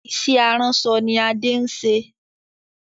Ìṣe aránṣọ ni Adé ń ṣe.